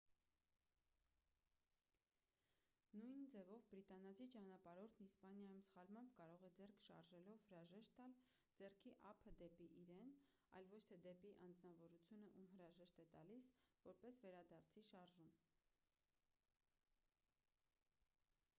նույն ձևով բրիտանացի ճանապարհորդն իսպանիայում սխալմամբ կարող է ձեռքը շարժելով հրաժեշտ տալ՝ ձեռքի ափը դեպի իրեն այլ ոչ թե դեպի անձնավորությունը ում հրաժեշտ է տալիս՝ որպես վերադարձի շարժում։